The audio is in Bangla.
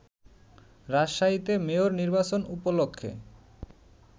রাজশাহীতে মেয়র নির্বাচন উপলক্ষে